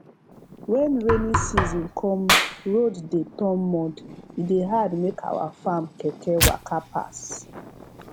when rainy season come road dey turn mud e dey hard make our farm keke waka pass